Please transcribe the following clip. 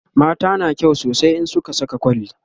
mata na kyau sosai in sun Saka kwalli